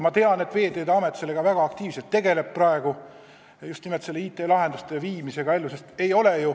Ma tean, et Veeteede Amet sellega praegu väga aktiivselt tegeleb – just nimelt nende IT-lahendustega.